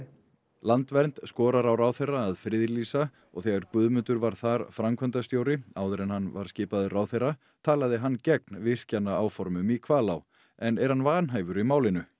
landvernd skorar á ráðherra að friðlýsa og þegar Guðmundur var þar framkvæmdastjóri áður en hann var skipaður ráðherra talaði hann gegn virkjanaáformum í Hvalá en er hann vanhæfur í málinu